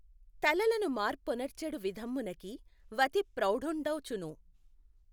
తలలను మార్పొనర్చెడు విధమ్మున కీ వతిప్రౌఢుఁడౌచు ను